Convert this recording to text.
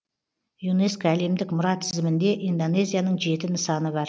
юнеско әлемдік мұра тізімінде индонезияның жеті нысаны бар